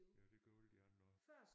Ja det gør alle de andre også